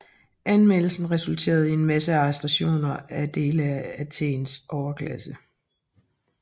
Anmeldelsen resulterede i en massearrestation af dele af Athens overklasse